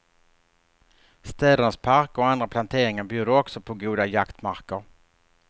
Städernas parker och andra planteringar bjuder också på goda jaktmarker.